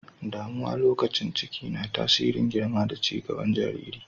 Damuwa lokacin ciki na tasirin girma da cin gaban jaririn.